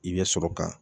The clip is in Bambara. I bɛ sɔrɔ ka